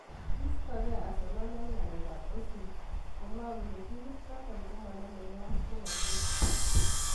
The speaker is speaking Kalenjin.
Kiistogee Asernal eng' ngalek ab Ozil komwoe kole timit noto komoname ke ak polotet.